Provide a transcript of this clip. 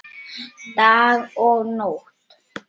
Dag og nótt.